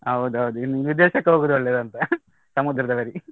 ಹೌದೌದು ಇನ್ನೂ ವಿದೇಶಕ್ಕೆ ಹೋಗುವುದು ಒಳ್ಳೆಯದಾ ಅಂತ ಸಮುದ್ರದ ಬದಿ.